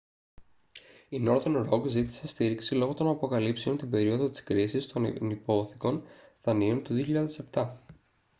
η northern rock ζήτησε στήριξη λόγω των αποκαλύψεων την περίοδο της κρίσης των ενυπόθηκων δανείων του 2007